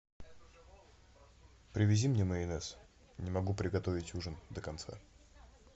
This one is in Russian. привези мне майонез не могу приготовить ужин до конца